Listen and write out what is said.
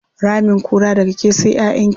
Ramin kura, daga ke sai ƴaƴanki.